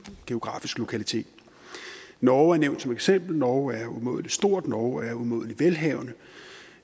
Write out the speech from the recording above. geografisk lokalitet norge er nævnt som eksempel norge er umådelig stort norge er umådelig velhavende